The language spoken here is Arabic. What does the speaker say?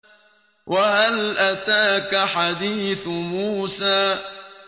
وَهَلْ أَتَاكَ حَدِيثُ مُوسَىٰ